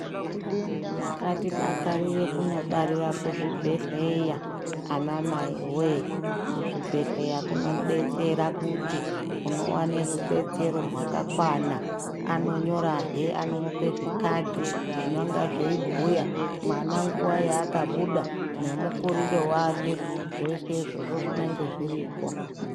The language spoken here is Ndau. Ngatidakarire kunobarera kuzvibhedhleya anamai wee. Kuzvibhedhleya kunobetsera kuti uno vane rubetsero rwakakwana anonyorahe anomupe zvikadhi zvinonga zveibhuya mwana nguva yaakabhuda nemukurire vake. Zveshe izvozvo zvinenge zviripo.